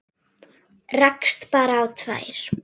Rakst bara á tvær.